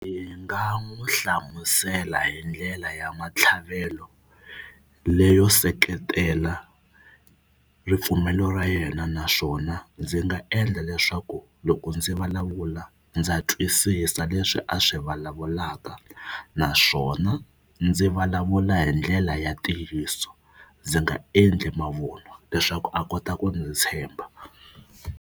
Hi nga n'wi hlamusela hi ndlela ya matlhavelo leyo seketela ripfumelo ra yena naswona ndzi nga endla leswaku loko ndzi vulavula ndza twisisa leswi a swi vulavulaka naswona ndzi vulavula hi ndlela ya ntiyiso ndzi nga endli mavunwa leswaku a kota ku ndzi tshemba.